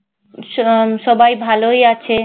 স~ উম সবাই ভালোই আছে।